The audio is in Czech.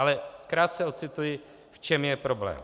Ale krátce ocituji, v čem je problém.